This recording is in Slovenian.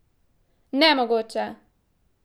Nemogoče!